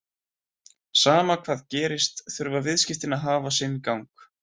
Sama hvað gerist þurfa viðskiptin að hafa sinn gang.